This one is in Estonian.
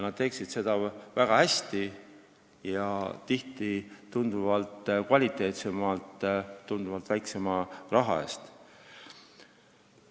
Nad teeksid seda tööd väga hästi ning tihti tunduvalt kvaliteetsemalt ja väiksema raha eest.